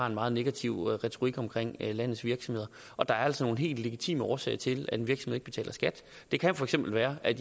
en meget negativ retorik om landets virksomheder der er altså nogle helt legitime årsager til at en virksomhed ikke betaler skat det kan for eksempel være at